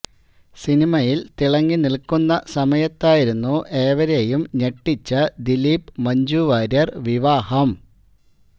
സിനിമയില് തിളങ്ങി നില്ക്കുന്ന സമയത്തായിരുന്നു ഏവരേയും ഞെട്ടിച്ച ദിലീപ് മഞ്ജുവാര്യര് വിവാഹം